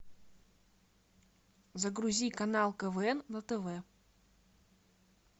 загрузи канал квн на тв